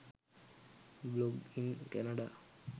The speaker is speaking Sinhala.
blog in canada